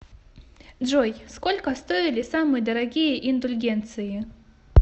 джой сколько стоили самые дорогие индульгенции